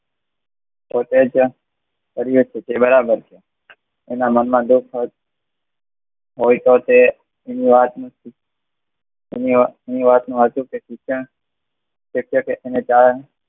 તો તે જાણ કર્યું હતું તે બરાબર છે એના મનમાં દુખ હોય તો તે એની વાતનું શિક્ષણ